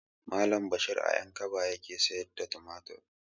Malam bashir a ƴankaba yake siyar da tumatir